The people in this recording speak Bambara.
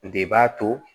De b'a to